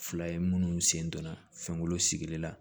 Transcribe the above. Fila ye munnu sen donna fɛnkolon sigili la